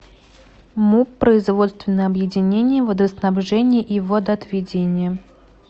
муп производственное объединение водоснабжения и водоотведения